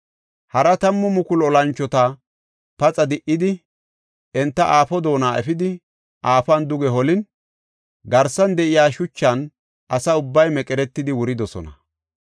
Hara tammu mukulu olanchota paxa di77idi, enta aafo doona efidi, aafuwan duge holin, garsan de7iya shuchan asa ubbay meqeretidi wuridosona.